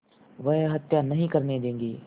वह हत्या नहीं करने देंगे